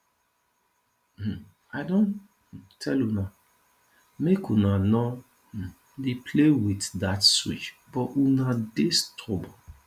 um i don um tell una make una no um dey play with dat switch but una dey stubborn